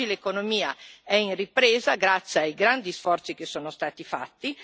Oggi l'economia è in ripresa, grazie ai grandi sforzi che sono stati fatti.